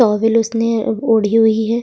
Towel उसने ओढ़ी हुई है।